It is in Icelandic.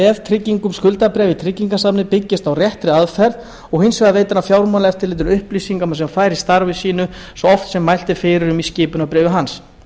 veðtryggingum skuldabréfa í tryggingasafni byggist á réttri aðferð og hins vegar veitir hann fjármálaeftirlitinu upplýsingar sem hann fær í starfi sínu svo oft sem mælt er fyrir um í skipunarbréfi hans